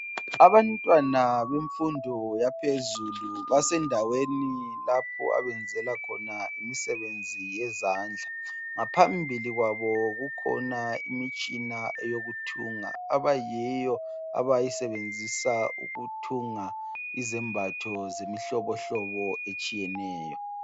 Abantwana bemfundo yaphezulu basendaweni lapho abenzela khona imisebenzi yezandla, ngaphambili kwabo kukhona imitshina eyokuthunga abayiyo abayisebenzisa ukuthunga izembatho zemihlobohlobo etshiyeneyo.